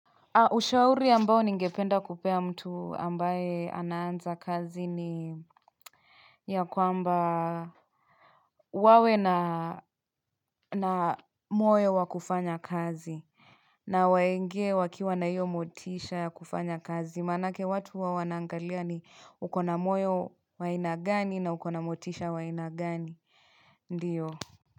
Ushauri ambao ningependa kupea mtu ambaye anaanza kazi ni ya kwamba wawe na moyo wa kufanya kazi na waingie wakiwa na hiyo motisha ya kufanya kazi maanake watu huwa wanaangalia ni uko na moyo wa aina gani na uko na motisha wa aina gani ndiyo.